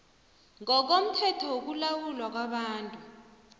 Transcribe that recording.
ngokomthetho wokulawulwa kwabantu